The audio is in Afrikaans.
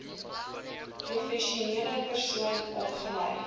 professionele persoon opgelei